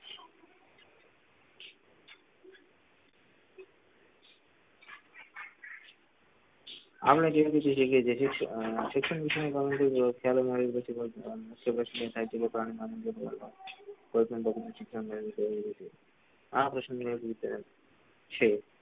આમણે જેવી રીતે પૂછે છે કે જેથી અર થાય છેકે પ્રાણ દો કે તીન આ પ્રશ્ન કે પુછે છે